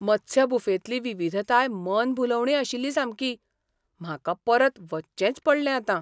मत्स्य बुफेंतली विविधताय मन भुलोवणी आशिल्ली सामकी! म्हाका परत वचचेंच पडलें आतां.